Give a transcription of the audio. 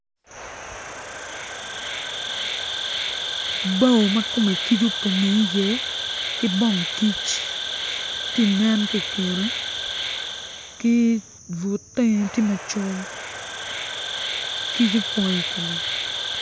Bao ma kome kic opong iye ki dong kic tye ka nen ki i kine ki but teng tye macol kic opong i kome.